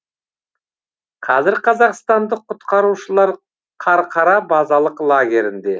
қазір қазақстандық құтқарушылар қарқара базалық лагерінде